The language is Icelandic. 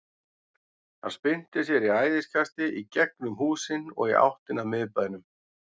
Hann spyrnti sér í æðiskasti í gegnum húsin og í áttina að miðbænum.